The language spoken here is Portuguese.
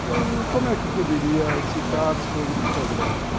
Como é que eu poderia citar sobre o progresso?